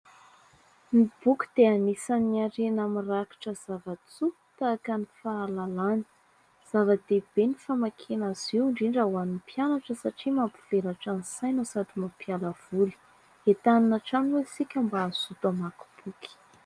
Ny boky dia anisan'ny harena mirakitra zavan-tsoa tahaka ny fahalalana. Zava-dehibe ny famakiana azy io, indrindra ho an'ny mpianatra satria mampivelatra ny saina sady mampiala voly. Entanina hatrany moa isika mba hazoto hamaky boky.